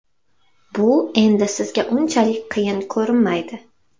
Bu endi sizga unchalik qiyin ko‘rinmaydi.